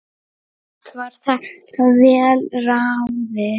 Allt var þetta vel ráðið.